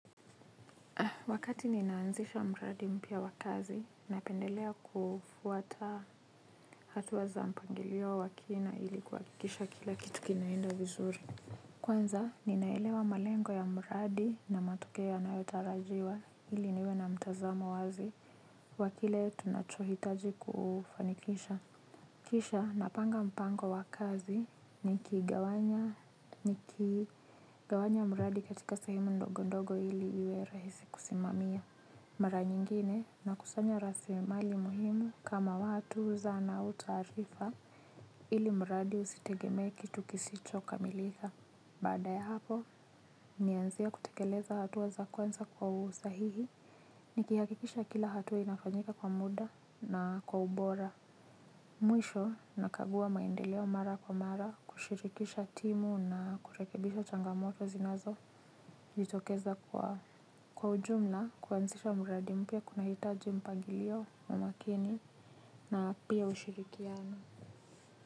Wakati ninaanzisha mradi mpya wa kazi, napendelea kufuata hatua za mpangilio wa kina ili kuhakikisha kila kitu kinaenda vizuri. Kwanza, ninaelewa malengo ya mradi na matokeo yanayotarajiwa, ili niwe na mtazamo wazi wa kile tunachohitaji kufanikisha. Kisha, napanga mpango wa kazi nikigawanya mradi katika sehemu ndogo ndogo ili iwe rahisi kusimamia. Mara nyingine nakusanya rasilimali muhimu kama watu, zana au taarifa ilimradi usitegemee kitu kisicho kamilika. Baada ya hapo, nianzie kutekeleza hatua za kwanza kwa usahihi nikihakikisha kila hatua inafanyika kwa muda na kwa ubora. Mwisho nakagua maendeleo mara kwa mara, kushirikisha timu na kurekebisha changamoto zinazojitokeza kwa. Kwa ujumla kuanzisha mradi mpya kunahitaji mpangilio wa makini na pia ushirikiano.